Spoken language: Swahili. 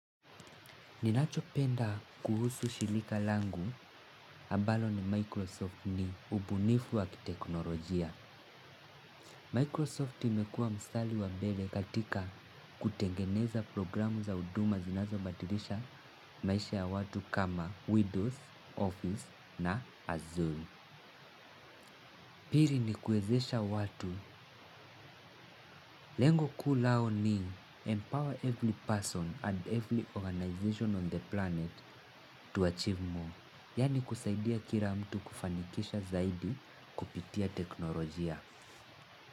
Ninachopenda kuhusu shilika langu, ambalo ni Microsoft ni ubunifu wa kiteknolojia. Microsoft imekua mstali wa mbele katika kutengeneza programu za huduma zinazo badilisha maisha ya watu kama Widows, Office na Azuri. Pili nikuwezesha watu, lengo kuu lao ni empower every person and every organization on the planet to achieve more. Yani kusaidia kila mtu kufanikisha zaidi kupitia teknolojia.